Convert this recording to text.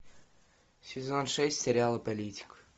сезон шесть сериала политик